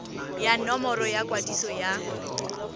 ya nomoro ya kwadiso ya